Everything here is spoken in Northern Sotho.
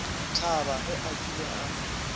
thaba ge a kile a